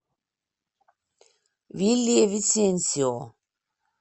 вильявисенсио